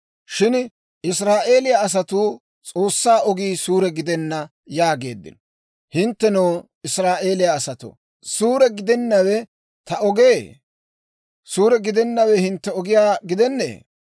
Shin Israa'eeliyaa asatuu, S'oossaa ogii suure gidenna yaageeddino. Hinttenoo, Israa'eeliyaa asatoo, suure gidennawe ta ogee? suure gidennawe hintte ogiyaa gidennee?